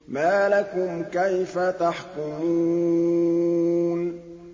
مَا لَكُمْ كَيْفَ تَحْكُمُونَ